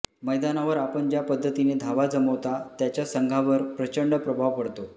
मैदानावर आपण ज्या पद्धतीने धावा जमवता त्याच्या संघावर प्रचंड प्रभाव पडतो